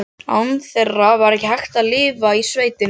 Án þeirra var ekki hægt að lifa í sveitinni.